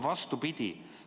Vastupidi.